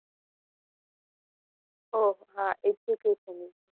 ઓહ! હા, education ની